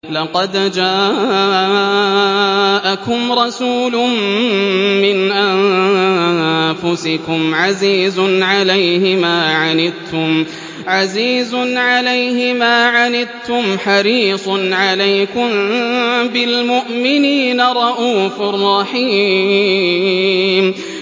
لَقَدْ جَاءَكُمْ رَسُولٌ مِّنْ أَنفُسِكُمْ عَزِيزٌ عَلَيْهِ مَا عَنِتُّمْ حَرِيصٌ عَلَيْكُم بِالْمُؤْمِنِينَ رَءُوفٌ رَّحِيمٌ